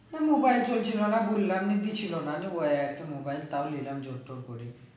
হ্যাঁ mobile চলছিল না ওই একটা mobile তাও নিলাম জোর তোর করে